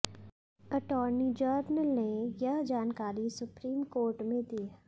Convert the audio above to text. attorney general ने यह जानकारी सुप्रीम कोर्ट में दी